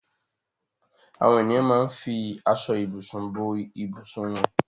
Àwọn ènìyàn máa ń fi aṣọ-ìbùsùn bo ìbùsùn wọn.